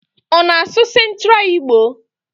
Ona asu centra Igbo?